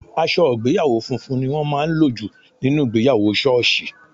Aṣọ ìgbéyàwó funfun ni wọ́n máa ń lò jù nínú ìgbéyàwó sọọsi.